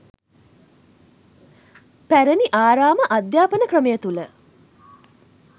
පැරණි ආරාම අධ්‍යාපන ක්‍රමය තුළ